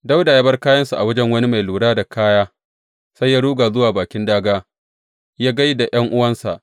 Dawuda ya bar kayansa a wajen wani mai lura da kaya, sai ya ruga zuwa bakin dāgā yă gai da ’yan’uwansa.